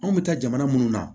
Anw bɛ taa jamana minnu na